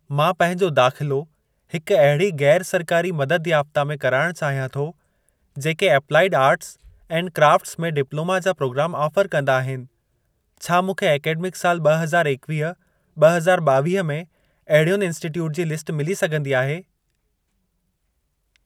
मां पंहिंजो दाख़िलो हिक अहिड़ी गै़रु सरकारी मददु याफ़्ता में कराइण चाहियां थो, जेके एप्लाइड आर्ट्स एंड क्राफ्ट्स में डिप्लोमा जा प्रोग्राम ऑफर कंदा आहिनि, छा मूंखे ऐकडेमिक साल ॿ ह‌ज़ार एकवीह ॿ हज़ार ॿावीह में, अहिड़ियुनि इन्स्टिटयूट जी लिस्ट मिली सघंदी आहे?